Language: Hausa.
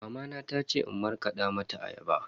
Mamana ta ce in markada mata ayaba.